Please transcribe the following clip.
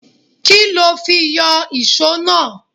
Kí lo fi yọ ìso náà?